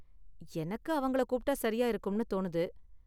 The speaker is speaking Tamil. எனக்கு அவங்கள கூப்பிட்டா சரியா இருக்கும்னு தோணுது.